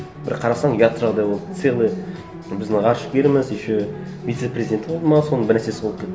бір қарасаң ұят жағдай болды целый біздің ғарышкеріміз еще вице президенті болды ма соның бір нәрсесі болды